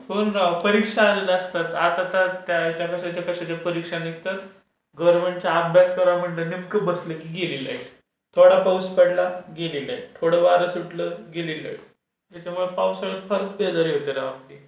हो ना राव! परीक्षा असतात. आता तर त्याच्या कशाच्या परीक्षा निघतात गव्हर्मेंटच्या, अभ्यास करायला नेमकं बसलो की गेले लाईट, थोडा पाऊस पडला गेली लाईट, थोडं वारं सुटलं गेली लाईट. त्याच्यामुळे पावसाळ्यात फारच बेजारी होते राव आपली.